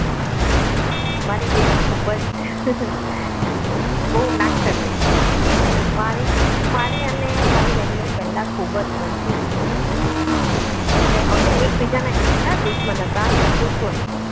તારી બેન ખૂબ જ બહુ નાકચરી હતી મારી મારી અને મારા બેન ની પહેલા ખૂબ જ બનતી જ નહીં હતી એટલે અમે એકબીજાના એટલા દુશ્મન હતા કે પૂછો નહીં